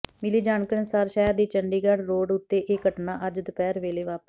ਮਿਲੀ ਜਾਣਕਾਰੀ ਅਨੁਸਾਰ ਸ਼ਹਿਰ ਦੀ ਚੰਡੀਗੜ੍ਹ ਰੋਡ ਉਤੇ ਇਹ ਘਟਨਾ ਅੱਜ ਦੁਪਹਿਰ ਵੇਲੇ ਵਾਪਰੀ